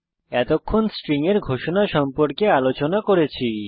এতক্ষণ আমরা স্ট্রিং এর ঘোষণা সম্পর্কে আলোচনা করেছি